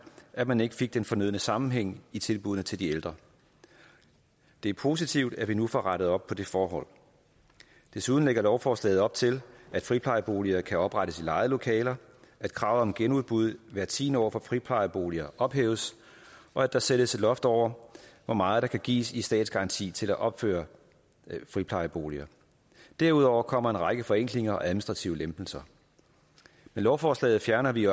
at man ikke fik den fornødne sammenhæng i tilbuddene til de ældre det er positivt at vi nu får rettet op på det forhold desuden lægger lovforslaget op til at friplejeboliger kan oprettes i lejede lokaler at krav om genudbud hvert tiende år for friplejeboliger ophæves og at der sættes et loft over hvor meget der kan gives i statsgaranti til at opføre friplejeboliger derudover kommer en række forenklinger og administrative lempelser med lovforslaget fjerner vi